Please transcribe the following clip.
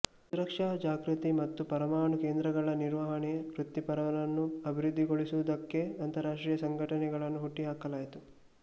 ಸುರಕ್ಷಾ ಜಾಗೃತಿ ಮತ್ತು ಪರಮಾಣು ಕೇಂದ್ರಗಳ ನಿರ್ವಹಣೆಗೆ ವೃತ್ತಿಪರರನ್ನು ಅಭಿವೃದ್ದಿಗೊಳಿಸುವುದಕ್ಕೆ ಅಂತಾರಾಷ್ಟ್ರೀಯ ಸಂಘಟನೆಯನ್ನು ಹುಟ್ಟುಹಾಕಲಾಯಿತು